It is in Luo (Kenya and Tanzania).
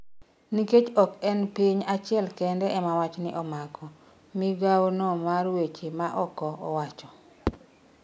nikech ok en piny achiel kende ema wachni omako," migawo no mar weche ma oko owacho.